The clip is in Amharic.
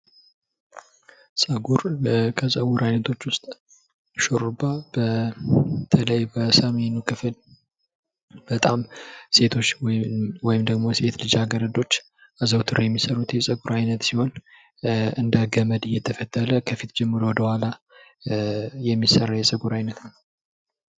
ፀጉር:- ከፀጉር አይነቶች ውስጥ ሹሩባ በተለይ በሰሜኑ ክፍል በጣም ሴቶች ወይም ሴት ልጃገረዶች አዘውትረው የሚሰሩት የፀጉር አይነት ሲሆን እንደ ገመድ እየተፈተለ ከፊት ጀምሮ ወደኋላ የሚሰራ የፀጉር አይነት ነው።